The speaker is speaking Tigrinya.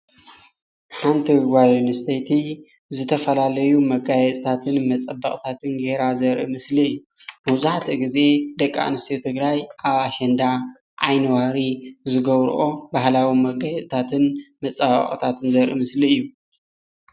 ሓንቲ ጓል ኣነስትይቲ ዝተፈላለዩ መጋየፅታትን መፀበቅታትን ጌራ ዘርኢ ምስሊ እዩ፡፡ መብዛሕቱኡ ግዜ ደቂ ኣነስትዮ ትግራይ ኣብ ኣሸንዳ ዓይኒ ዋሪ ዝገብረኦ ባህላዊ መጋየፀታትን መፀባበቅታትን ዘርኢ ምስሊ እዩ፡፡